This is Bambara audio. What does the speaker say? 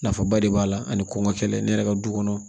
Nafaba de b'a la ani kɔngɔ kɛlɛ ne yɛrɛ ka du kɔnɔ